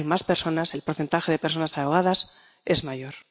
Hay más personas, el porcentaje de personas ahogadas es mayor.